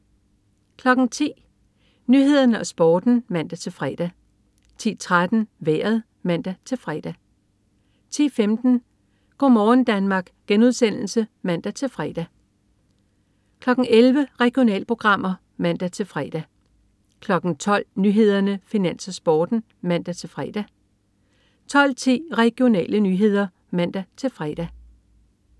10.00 Nyhederne og Sporten (man-fre) 10.13 Vejret (man-fre) 10.15 Go' morgen Danmark* (man-fre) 11.00 Regionalprogrammer (man-fre) 12.00 Nyhederne, Finans, Sporten (man-fre) 12.10 Regionale nyheder (man-fre)